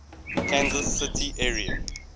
kansas city area